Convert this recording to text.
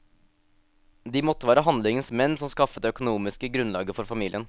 De måtte være handlingens menn som skaffet det økonomiske grunnlaget for familien.